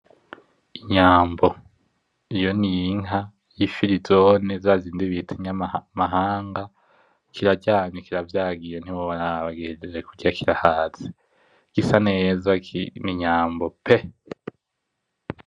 Inyambo. Iyo n'inka y'ifirizone zazindi bita inyamahanga, kiraryamye, kiravyagiye ntiworaba gihejeje kurya kirahaze. Gisa neza, n'inyambo pe!